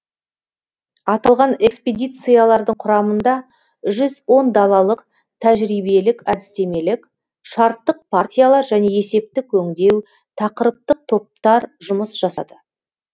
аталған экспедициялардың құрамында жүз он далалық тәжірибелік әдістемелік шарттық партиялар және есептік өңдеу тақырыптық топтар жұмыс жасады